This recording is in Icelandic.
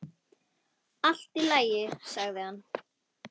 Allt í lagi, sagði hann.